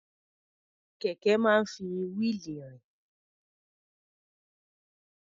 Kẹ̀ké máa ń fi wíìlì rìn.